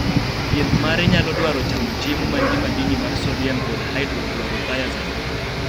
thieth mare nyalo dwaro chamo chiemo man gi madini mar sodiam kod hydrochlorothiazide.